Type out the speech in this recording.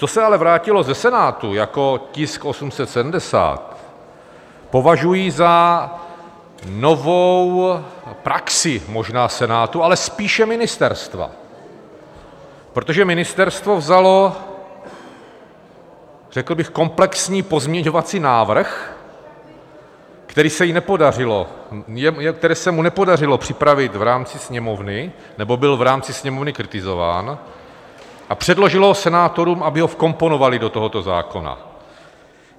Co se ale vrátilo ze Senátu jako tisk 870, považuji za novou praxi možná Senátu, ale spíše ministerstva, protože ministerstvo vzalo řekl bych komplexní pozměňovací návrh, který se mu nepodařilo připravit v rámci Sněmovny nebo byl v rámci Sněmovny kritizován, a předložilo ho senátorům, aby ho vkomponovali do tohoto zákona.